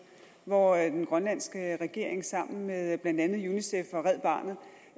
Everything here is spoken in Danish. hvor den grønlandske regering sammen med blandt andet unicef og red barnet